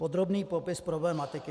Podrobný popis problematiky.